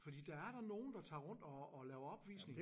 Fordi der er da nogen der tager rundt og og laver opvisning